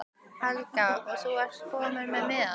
Helga: Og þú ert kominn með miða?